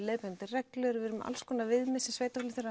leiðbeinandi reglur við erum með alls konar viðmið sem sveitarfélögin